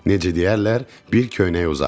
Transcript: Necə deyərlər, bir köynək uzaq.